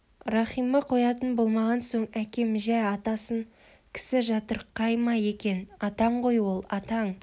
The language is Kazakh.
рахима қоятын болмаған соң әкем жә атасын кісі жатырқай ма екен атаң ғой ол атаң